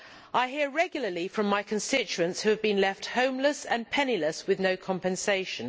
I hear regularly from my constituents who have been left homeless and penniless with no compensation.